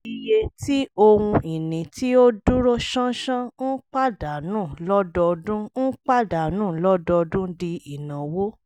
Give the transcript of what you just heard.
iye tí ohun ìní tí ó dúró ṣánṣán ń pàdánù lọ́dọọdún ń pàdánù lọ́dọọdún di ìnáwó